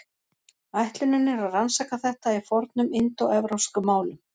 Ætlunin er að rannsaka þetta í fornum indóevrópskum málum.